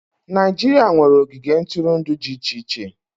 Naịjirịa nwere ogige ntụrụndụ dị iche iche.